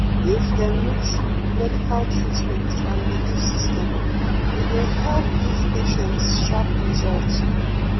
if dem mix medical treatment and belief system — e go help give patients sharp result.